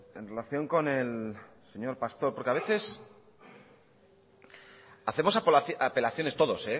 en relación con el señor pastor porque a veces hacemos apelaciones todos